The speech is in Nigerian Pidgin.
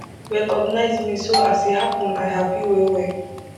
recognise me so as e happun i happy well well